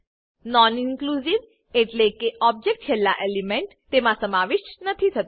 non inclusive એટલેકે object છેલ્લા element તેમા સમાવિષ્ઠ નથી થતું